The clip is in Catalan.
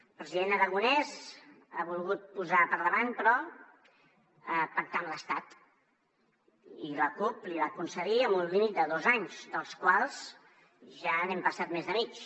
el president aragonès ha volgut posar per davant però pactar amb l’estat i la cup l’hi va concedir amb un límit de dos anys dels quals ja n’hem passat més de mig